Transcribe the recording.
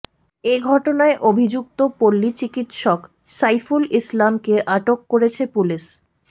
এ ঘটনায় অভিযুক্ত পল্লী চিকিৎসক সাইফুল ইসলামকে আটক করেছে পুলিশ